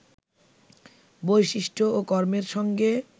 বৈশিষ্ট্য ও কর্মের সঙ্গে